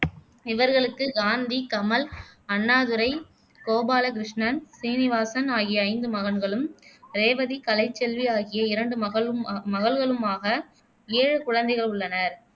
இவர்களுக்கு காந்தி, கமல், அண்ணாதுரை, கோபால கிருஷ்ணன், சீனிவாசன் ஆகிய ஐந்து மகன்களும், ரேவதி, கலைச்செல்வி ஆகிய இரண்டு மகளுமா மகள்களுமாக ஏழு குழந்தைகள் உள்ளனர்